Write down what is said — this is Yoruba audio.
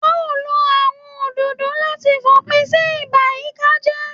A ó lo àwọn òdòdó láti fòpin sí ìbàyíkájẹ́